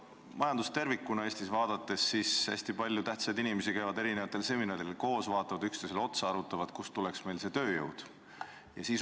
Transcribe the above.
Majandust tervikuna Eestis vaadates näeme, et hästi palju tähtsaid inimesi käib mitmesugustel seminaridel, nad vaatavad üksteisele otsa ja arutavad, kust tuleks meile tööjõud.